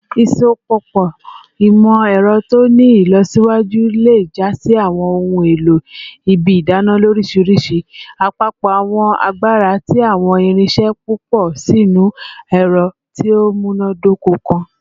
Isopọpọ imọ-ẹrọ ti o ni ilọsiwaju le ja si awọn ohun elo ibi idana lorishirishi, apapọ awọn agbara ti awọn irinṣẹ pupọ sinu ẹrọ ti o munadoko kan.